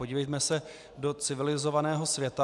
Podívejme se do civilizovaného světa.